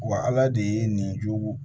Wa ala de ye nin jugu